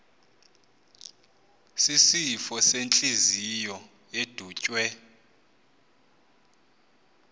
sisifo sentliziyo edutywe